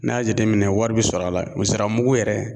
N'i y'a jate minɛn wari bɛ sɔrɔ a la o zira mugu yɛrɛ